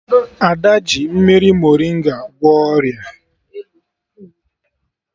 Ada ji mmiri morịnga gwọọ ọrịa